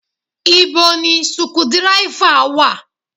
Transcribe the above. Ibo ni suku dírẹ́fà wa?